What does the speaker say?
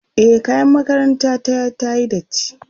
e kayan makaranta ta tayi datti